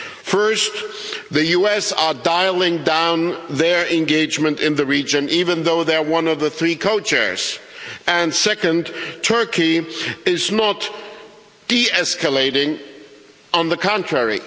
First, the United States are dialling down their engagement in the region, even though they are one of the three co chairs, and, second, Turkey is not de-escalating on the contrary.